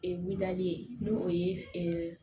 Ee wuliyali ye n'o o ye